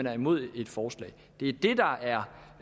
er imod et forslag det er